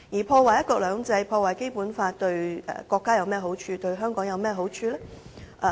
破壞"一國兩制"和《基本法》對國家及香港有甚麼好處？